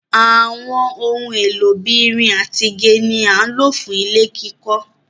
Àwọn ohun èlò bí ìrìn àti igi ni à lọ fú ilẹ̀ kikó.